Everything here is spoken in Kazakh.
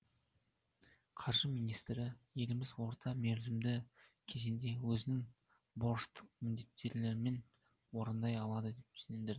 қаржы министрі еліміз орта мерзімді кезеңде өзінің борыштық міндеттемелерін орындай алады деп сендірді